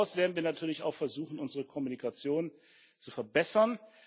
Darüber hinaus werden wir natürlich auch versuchen, unsere Kommunikation zu verbessern.